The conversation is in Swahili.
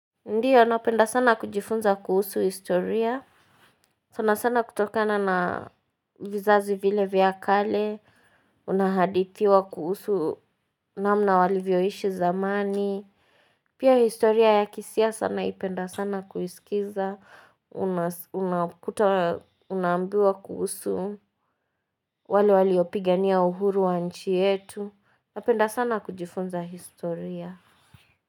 Ndio napenda sana kujifunza kuhusu historia sana sana kutokana na vizazi vile vyakale unahadithiwa kuhusu namna walivyoishi zamani Pia historia ya kisiasa naipenda sana kuiskiza umas unaukuta unaambiwa kuhusu wale waliopigania uhuru wa nchi yetu napenda sana kujifunza historia.